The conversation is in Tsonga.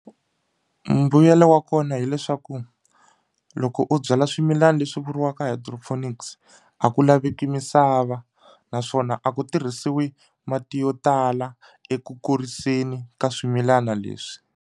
Mbuyelo wa kona hileswaku loko u byala swimilana leswi vuriwaka Hydroponics a ku laveki misava naswona a ku tirhisiwi mati yo tala eku kuriseni ka swimilana leswi.